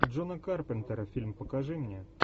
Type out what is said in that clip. джона карпентера фильм покажи мне